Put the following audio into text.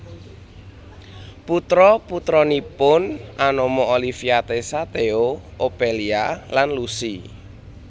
Putra putranipun anama Olivia Tessa Theo Ophelia lan Lucy